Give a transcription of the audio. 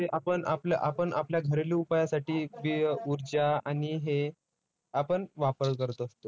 आपण आपल्या आपण आपल्या घरेलू उपायासाठी हे ऊर्जा आणि हे आपण वापर करत असतो.